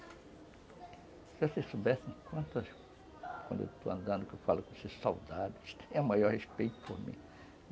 Se vocês soubessem quantas, quando eu estou andando, que eu falo com esses soldados, é o maior respeito por mim.